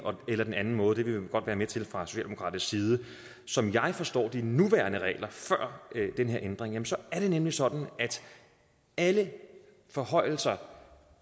eller den anden måde det vil vi godt være med til fra socialdemokratisk side som jeg forstår de nuværende regler altså før den her ændring er det nemlig sådan at alle forhøjelser